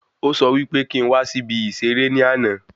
Ó sọ wí pé kí n wá sí ibi ìserẹ́ ní àna